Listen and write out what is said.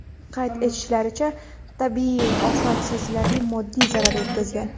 Qayd etishlaricha, tabiiy ofat sezilarli moddiy zarar yetkazgan.